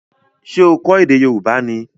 Ṣé o kọ ède Yorùbá ni?